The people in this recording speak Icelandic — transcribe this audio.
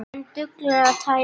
En dugir tæplega til.